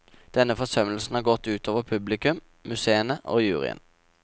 Denne forsømmelsen har gått ut over publikum, museene og juryen.